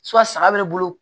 saga be ne bolo